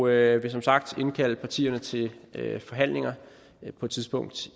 jeg vil som sagt indkalde partierne til forhandlinger på et tidspunkt